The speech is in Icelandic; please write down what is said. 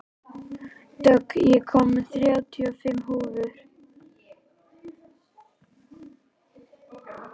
Dögg, ég kom með þrjátíu og fimm húfur!